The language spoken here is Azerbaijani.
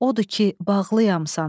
Odur ki, bağlıyam sana.